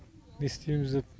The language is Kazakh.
не істейміз деп